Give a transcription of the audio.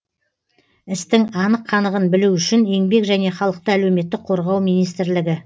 істің анық қанығын білу үшін еңбек және халықты әлеуметтік қорғау министрлігі